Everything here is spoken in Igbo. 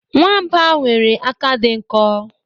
Nwamba nwere aka di nko